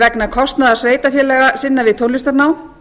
vegna kostnaðar sveitarfélaga sinna við tónlistarnám